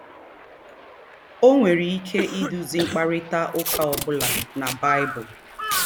O nwere ike iduzi mkparịta ụka ọ bụla na Baịbụl.